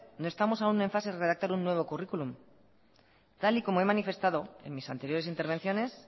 no estamos aún en fase de redactar un nuevo currículum tal y como he manifestado en mis anteriores intervenciones